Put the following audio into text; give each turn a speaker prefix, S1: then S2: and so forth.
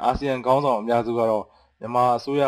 S1: အာဆီယံ ခေၝင်းဆောင်တေအြနေနဲႚ ူမန်မာအစိုးရ